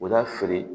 O b'a feere